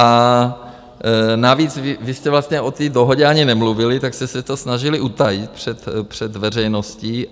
A navíc vy jste vlastně o té dohodě ani nemluvili, tak jste se to snažili utajit před veřejností.